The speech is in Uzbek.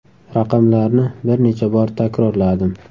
Raqamlarni bir necha bor takrorladim.